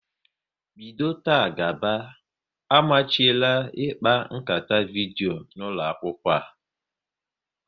Bido taa gaba, amachiela ịkpa nkata vidyo n'ụlọ akwụkwọ a!